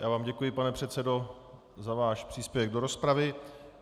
Já vám děkuji, pane předsedo, za váš příspěvek do rozpravy.